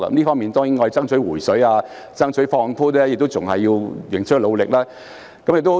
我們在爭取"回水"、爭取放寬方面，仍須努力。